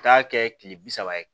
Taa kɛ kile bi saba ye